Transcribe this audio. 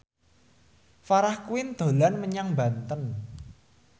Farah Quinn dolan menyang Banten